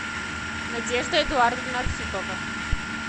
надежда эдуардовна архипова